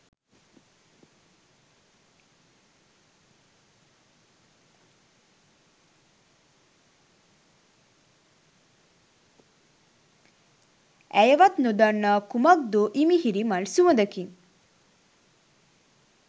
ඇයවත් නොදන්නා කුමක්දෝ ඉමිහිරි මල් සුවඳකින්